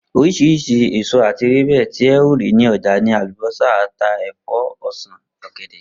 Orís̩irís̩i èso àti ewébè̩ ti e̩ óò rí ní o̩jà ni àlùbó̩sà, ata, è̩fó̩, o̩sàn, ò̩gè̩dè̩